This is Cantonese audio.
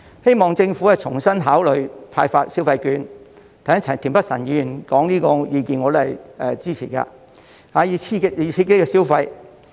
希望政府重新考慮派發消費券——田北辰議員剛才提出這個意見，我是支持的——以刺激消費。